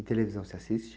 E televisão, você assiste?